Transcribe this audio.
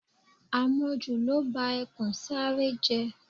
Àmọ̀jù ló ba ẹkùn Sáárẹ́ jẹ́